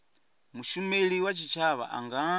mushumeli wa tshitshavha a nga